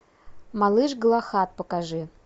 малыш галахад покажи